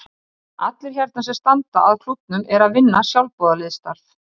En allt sem Evklíð sannaði heldur enn sínu gildi í dag.